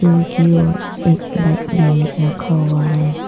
और एक बाइक भी रखा हुआ।